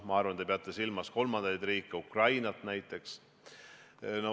Ma arvan, te peate silmas kolmandaid riike, Ukrainat näiteks.